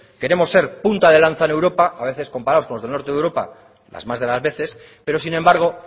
queremos ser punta de lanza en europa a veces comparados con los del norte de europa las más de las veces pero sin embargo